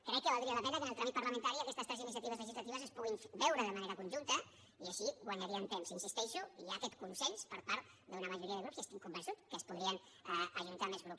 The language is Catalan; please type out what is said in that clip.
crec que valdria la pena que en el tràmit parlamentari aquestes tres iniciatives legislatives es puguin veure de manera conjunta i així guanyaríem temps hi insisteixo hi ha aquest consens per part d’una majoria de grups i estic convençut que s’hi podrien ajuntar més grups